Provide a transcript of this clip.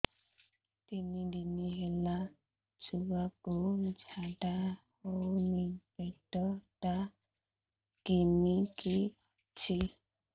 ତିନି ଦିନ ହେଲା ଛୁଆକୁ ଝାଡ଼ା ହଉନି ପେଟ ଟା କିମି କି ଅଛି